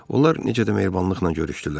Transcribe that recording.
Onlar necə də mehribanlıqla görüşdülər.